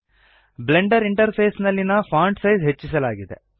Blender interface ನಲ್ಲಿನ font size ಹೆಚ್ಚಿಸಲಾಗಿದೆ